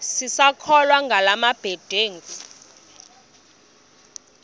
sisakholwa ngala mabedengu